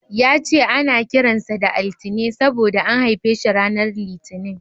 Ya ce ana kiran sa da Altine saboda an haife shi ranar Litinin.